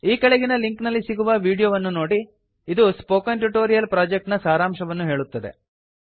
ಈ ಕೆಳಗಿನ ಲಿಂಕ್ ನಲ್ಲಿ ಸಿಗುವ ವಿಡೀಯೋ ವನ್ನು ನೋಡಿ ಇದು ಸ್ಪೋಕನ್ ಟ್ಯುಟೋರಿಯಲ್ ಪ್ರಾಜೆಕ್ಟ್ ನ ಸಾರಾಂಶವನ್ನು ಹೇಳುತ್ತದೆ